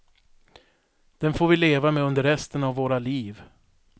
Den får vi leva med under resten av våra liv.